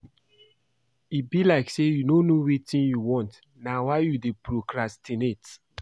E be like say you no know wetin you want na why you dey procrastinate